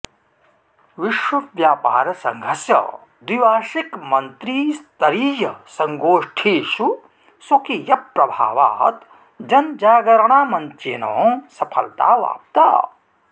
विश्वव्यापार संघस्य द्विवार्षिक मंत्रीस्तरीयसङ्गोष्ठीषु स्वकीय प्रभावात् जनजागरणामञ्चेन सफलताऽवापता